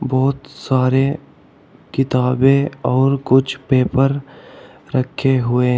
बहोत सारे किताबें और कुछ पेपर रखे हुए--